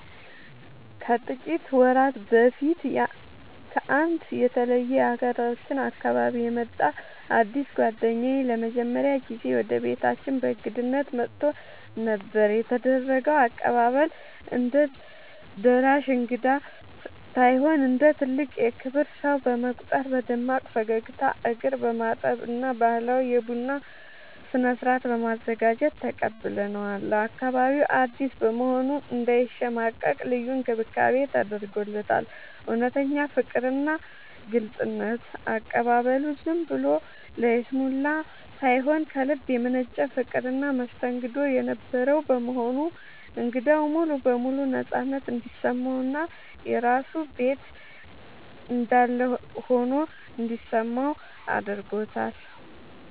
ከጥቂት ወራት በፊት ከአንድ የተለየ የሀገራችን አካባቢ የመጣ አዲስ ጓደኛዬ ለመጀመሪያ ጊዜ ወደ ቤታችን በእንግድነት መጥቶ ነበር። የተደረገው አቀባበል፦ እንደ ደራሽ እንግዳ ሳይሆን እንደ ትልቅ የክብር ሰው በመቁጠር በደማቅ ፈገግታ፣ እግር በማጠብ እና ባህላዊ የቡና ስነ-ስርዓት በማዘጋጀት ተቀብለነዋል። ለአካባቢው አዲስ በመሆኑ እንዳይሸማቀቅ ልዩ እንክብካቤ ተደርጎለታል። እውነተኛ ፍቅርና ግልጽነት፦ አቀባበሉ ዝም ብሎ ለይስሙላ ሳይሆን ከልብ የመነጨ ፍቅርና መስተንግዶ የነበረው በመሆኑ እንግዳው ሙሉ በሙሉ ነፃነት እንዲሰማውና የራሱ ቤት እንዳለ ሆኖ እንዲሰማው አድርጎታል።